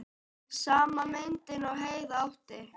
Sama myndin og Heiða átti.